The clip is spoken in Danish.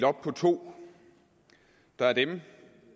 to der er dem